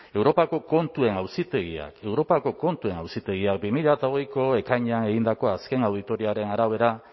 europako kontuen auzitegiak bi mila hogeiko ekainean egindako azken auditoriaren arabera